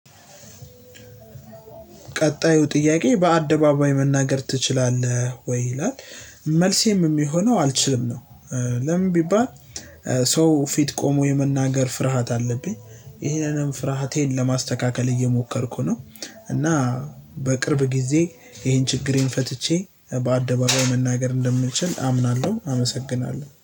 ቀጣዩ ጥያቄ በአደባባይ መናገር ትችላለህ ወይ? ይላል መልሴም የሚሆነው አልችልም ነው። ለምን ቢባል። ሰው ፊት ቆሞ የመናገር ፍርሃት አለብኝ ይሄንንም ፍርሃቴን ለማስተካከል እየሞከርኩ ነው። እና በቅርብ ጊዜ ይሄን ችግሬን ፈትቼ በአደባባይ መናገር እንደምችል አምናለሁ። አመሰግናለሁ